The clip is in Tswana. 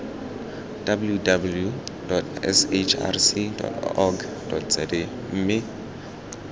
www sahrc org za mme